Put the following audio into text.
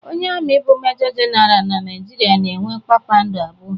Onye ami bụ Mejọ Jenara na Naijiria na-enwe kpakpando abụọ.